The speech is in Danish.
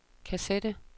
kassette